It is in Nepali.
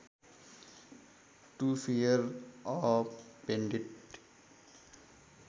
to fear a painted